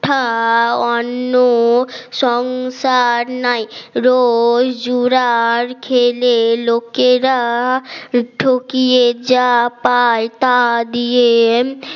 অন্য সংসার নাই রোজ জুড়ার খেলে লোকেরা ঠকিয়ে যা পায় তা দিয়ে